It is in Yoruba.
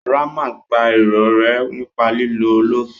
Ramat pa irorẹ́ nípa lílo ólífì